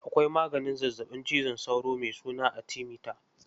Akwai maganin zazzaɓin cizon sauro mai suna atimita.